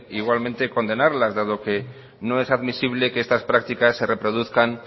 igualmente condenarlas dado que no es admisible que estas prácticas se reproduzcan